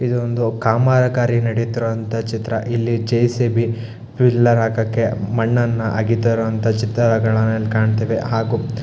ಇದು ಒಂದು ಕಾಮಗಾರಿ ನಡೆತ್ತಿರುವಂತ ಚಿತ್ರ ಇಲ್ಲಿ ಜೆ.ಸಿ.ಬಿ ಪಿಲ್ಲರ್ ಹಾಕಕ್ಕೆ ಮಣ್ಣನ್ನು ಅಗೇತಾ ಇರುವಂತ ಚಿತ್ರಗಳನ್ನ ಇಲ್ಲಿ ಕಾಣತ್ತಿವಿ ಹಾಗು--